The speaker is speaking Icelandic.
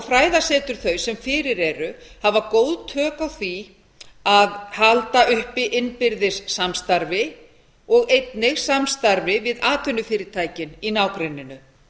fræðasetur þau sem fyrir eru hafa góð tök á því að halda uppi innbyrðis samstarfi og einnig samstarfi við atvinnufyrirtækin í nágrenninu